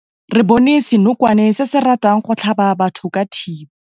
Re bone senokwane se se ratang go tlhaba batho ka thipa.